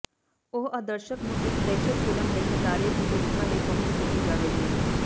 ਉਹ ਆਦਰਸ਼ਕ ਨੂੰ ਇੱਕ ਦਹਿਸ਼ਤ ਫਿਲਮ ਲਈ ਨਜ਼ਾਰੇ ਦੀ ਭੂਮਿਕਾ ਲਈ ਪਹੁੰਚ ਕੀਤੀ ਜਾਵੇਗੀ